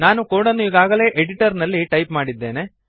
ನಾನು ಕೋಡನ್ನು ಈಗಾಗಲೇ ಎಡಿಟರ್ನಲ್ಲಿ ಟೈಪ್ ಮಾಡಿದ್ದೇನೆ